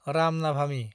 Ram नाभामि